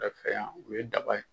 fɛ yan o ye daba ye.